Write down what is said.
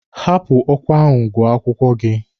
Hapụ ọkwa ahụ gụọ akwụkwọ gị!